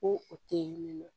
Ko o te nin ye